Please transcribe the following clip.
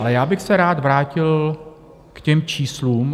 Ale já bych se rád vrátil k těm číslům.